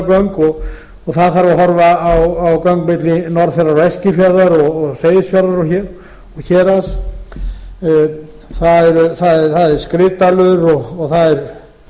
gera göng og það þarf að horfa á göng milli norðfjarðar og eskifjarðar og seyðisfjarðar og héraðs það er skriðdalur og það er